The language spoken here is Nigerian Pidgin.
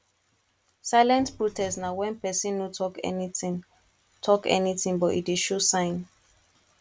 silent protest na when persin no talk anything talk anything but e de show sign